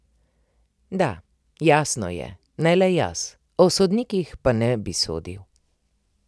Da, jasno je, ne le jaz, o sodnikih pa ne bi sodil.